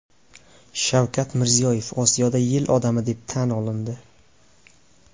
Shavkat Mirziyoyev Osiyoda yil odami deb tan olindi.